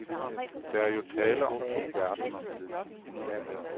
Der er jo tale om to verdener.